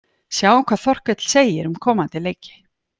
Sjáum hvað Þorkell segir um komandi leiki: